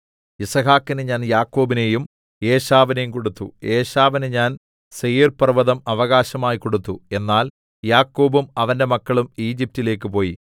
യിസ്ഹാക്കിന് ഞാൻ യാക്കോബിനെയും ഏശാവിനെയും കൊടുത്തു ഏശാവിന് ഞാൻ സേയീർപർവ്വതം അവകാശമായി കൊടുത്തു എന്നാൽ യാക്കോബും അവന്റെ മക്കളും ഈജിപ്റ്റിലേക്ക് പോയി